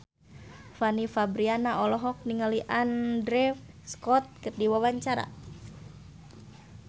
Fanny Fabriana olohok ningali Andrew Scott keur diwawancara